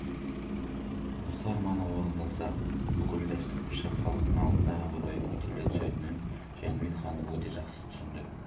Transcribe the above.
осы арманы орындалса бүкіл дәшті қыпшақ халқының алдында абыройы көтеріле түсетінін жәнібек хан өте жақсы түсінді